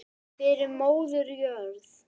Fyrir móður jörð.